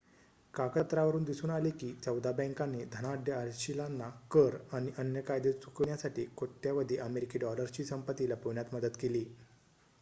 कागदपत्रांवरुन दिसून आले की चौदा बँकांनी धनाढ्य अशिलांना कर आणि अन्य कायदे चुकविण्यासाठी कोट्यावधी अमेरिकी डॉलर्सची संपत्ती लपविण्यात मदत केली